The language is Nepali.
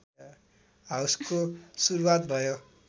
हाउसको सुरुवात भयो